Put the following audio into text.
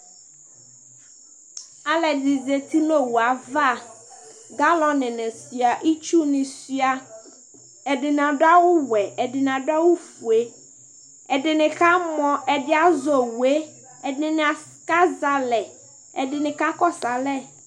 aloɛdini zati n'owu ava galɔn ni sua itsu ni sua ɛdini ado awu wɛ ɛdini ado awu fue ɛdini kamɔ ɛdi azɛ owue ɛdini kazɛ alɛ ɛdini kakɔsu alɛ